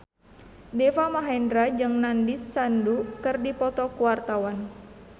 Deva Mahendra jeung Nandish Sandhu keur dipoto ku wartawan